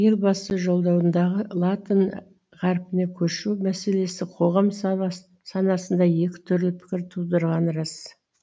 елбасы жолдауындағы латын ғаріпіне көшу мәселесі қоғам санасында екі түрлі пікір тудырғаны рас